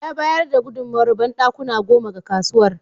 Ya bayar da gudunmowar banɗakuna goma ga kasuwar.